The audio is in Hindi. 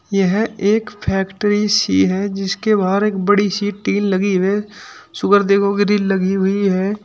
यह एक फैक्ट्री सी है जिसके बाहर एक बड़ी सी टीन लगी है देखो गिरील लगी हुई है।